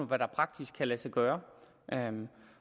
hvad der praktisk kan lade sig gøre